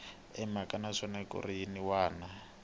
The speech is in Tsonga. emhakeni naswona mikarhi yin wana